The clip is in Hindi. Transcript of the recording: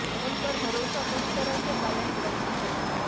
उन पर भरोसा पूरी तरह से पालन करती है